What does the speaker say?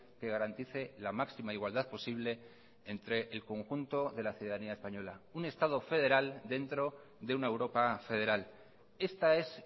que garantice la máxima igualdad posible entre el conjunto de la ciudadanía española un estado federal dentro de una europa federal esta es